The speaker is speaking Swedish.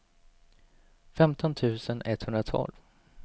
femton tusen etthundratolv